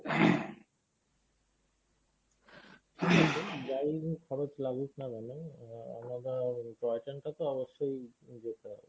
যাই হোক খরচ লাগুক না কেন toy train টা তো অবশ্যই যেতে হবে।